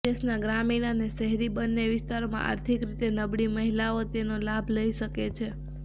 દેશના ગ્રામીણ અને શહેરી બંને વિસ્તારોમાં આર્થિક રીતે નબળી મહિલાઓ તેનો લાભ લઈ શકે છે